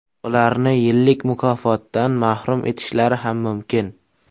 Ularni yillik mukofotdan mahrum etishlari ham mumkin.